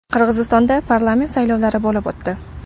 Qirg‘izistonda parlament saylovlari bo‘lib o‘tdi.